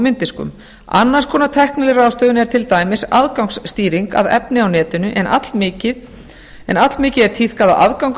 mynddiskum annars konar tækniráðstöfun er til dæmis aðgangsstýring að efni á netinu en allmikið er tíðkað að aðgangur að